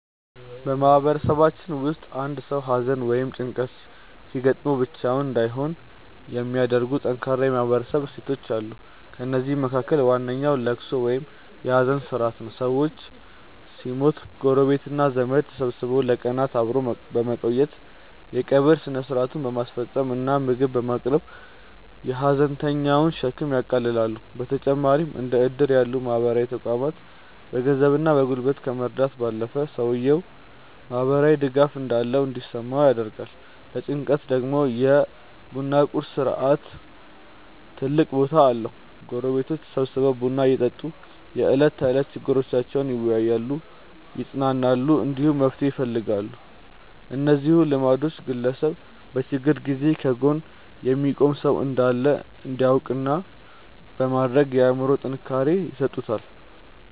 በማህበረሰባችን ውስጥ አንድ ሰው ሐዘን ወይም ጭንቀት ሲገጥመው ብቻውን እንዳይሆን የሚያደርጉ ጠንካራ የማህበረሰብ እሴቶች አሉ። ከእነዚህም መካከል ዋነኛው ልቅሶ ወይም የሐዘን ሥርዓት ነው። ሰው ሲሞት ጎረቤትና ዘመድ ተሰብስቦ ለቀናት አብሮ በመቆየት፣ የቀብር ሥነ ሥርዓቱን በማስፈጸም እና ምግብ በማቅረብ የሐዘንተኛውን ሸክም ያቃልላሉ። በተጨማሪም እንደ ዕድር ያሉ ማህበራዊ ተቋማት በገንዘብና በጉልበት ከመርዳት ባለፈ፣ ሰውየው ማህበራዊ ድጋፍ እንዳለው እንዲሰማው ያደርጋሉ። ለጭንቀት ደግሞ የ ቡና ቁርስ ሥርዓት ትልቅ ቦታ አለው፤ ጎረቤቶች ተሰብስበው ቡና እየጠጡ የዕለት ተዕለት ችግሮቻቸውን ይወያያሉ፣ ይጽናናሉ፣ እንዲሁም መፍትሄ ይፈልጋሉ። እነዚህ ልማዶች ግለሰቡ በችግር ጊዜ ከጎኑ የሚቆም ሰው እንዳለ እንዲያውቅ በማድረግ አእምሮአዊ ጥንካሬ ይሰጡታል።